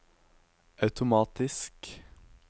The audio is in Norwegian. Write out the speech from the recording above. automatisk